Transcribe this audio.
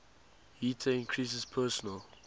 heater increases personal